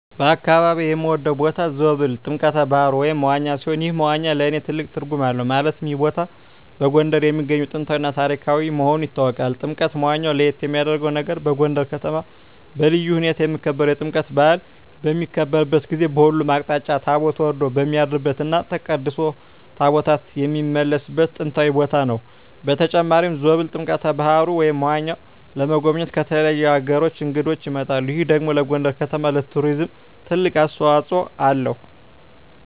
በአካባቢየ የምወደው ቦታ ዞብል ጥምቀተ ባህሩ (መዋኛ) ሲሆን ይህ መዋኛ ለእኔ ትልቅ ትርጉም አለው ማለትም ይህ ቦታ በጎንደር የሚገኝ ጥንታዊ እና ታሪካዊ መሆኑ ይታወቃል። ጥምቀተ መዋኛው ለየት የሚያረገው ነገር በጎንደር ከተማ በልዩ ሁኔታ የሚከበረው የጥምቀት በአል በሚከበርበት ጊዜ በሁሉም አቅጣጫ ታቦት ወርዶ የሚያድርበት እና ተቀድሶ ታቦታት የሚመለስበት ጥንታዊ ቦታ ነው። በተጨማሪም ዞብል ጥምቀተ በሀሩ (መዋኛው) ለመጎብኘት ከተለያዩ አገራት እንግዶች ይመጣሉ ይህ ደግሞ ለጎንደር ከተማ ለቱሪዝም ትልቅ አስተዋጽኦ አለው።